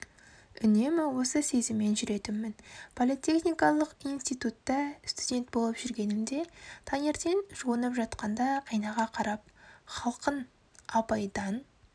үнемі осы сезіммен жүретінмін политехникалық институтта студент болып жүргенімде таңертең жуынып жатқанда айнаға қарап халқыңапайдаң